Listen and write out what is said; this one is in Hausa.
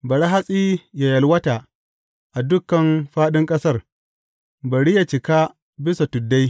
Bari hatsi yă yalwata a duk fāɗin ƙasar; bari yă cika bisan tuddai.